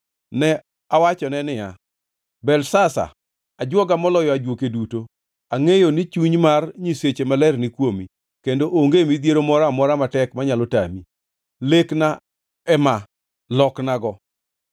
Ne awachone niya, “Belteshazar ajwoga moloyo ajuoke duto, angʼeyo ni chuny mar nyiseche maler ni kuomi, kendo onge midhiero moro amora matek manyalo tami. Lekna ema, loknago.